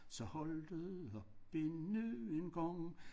Så holdt det op endnu en gang